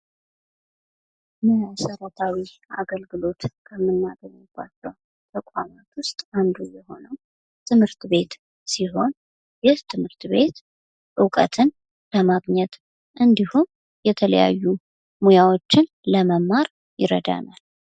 መሠረታዊ አገልግሎት ከምናገኝባቸው ተቋማት ዉስጥ አንዱ የሆነው ትምህርት ቤት ሲሆን ይህ ትምህርት ቤት እውቀትን ለማግኘት እንዲሁም የተለያዩ ሙያዎችን ለመማር ይረዳናል ።